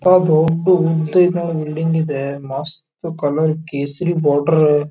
ಅಂತ ದೊಡ್ದು ಉದ್ದನ್ ಬಿಲ್ಡಿಂಗ್ ಇದೆ ಮಸ್ತ್ ಕಲರ್ ಕೇಸರಿ ಬಾರ್ಡರ್ --